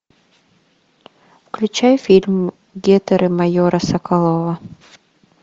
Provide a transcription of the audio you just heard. включай фильм гетеры майора соколова